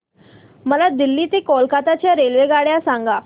मला दिल्ली ते कोलकता च्या रेल्वेगाड्या सांगा